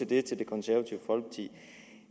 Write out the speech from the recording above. det til det konservative folkeparti